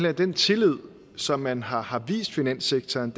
at den tillid som man har har vist finanssektoren